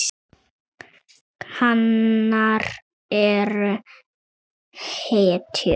Hanar eru hetjur.